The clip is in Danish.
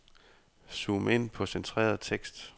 Zoom ind på centreret tekst.